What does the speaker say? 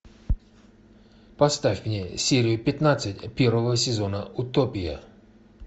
поставь мне серию пятнадцать первого сезона утопия